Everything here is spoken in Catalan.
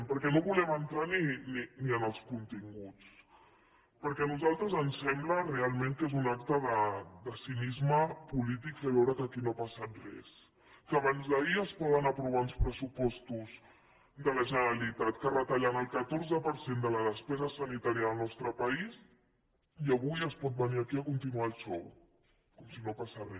perquè no volem entrar ni en els continguts perquè a nosaltres ens sembla realment que és un acte de cinisme polític fer veure que aquí no ha passat res que abans d’ahir es poden aprovar uns pressupostos de la generalitat que retallen el catorze per cent de la despesa sanitària del nostre país i avui es pot venir aquí a continuar el xou com si no passés re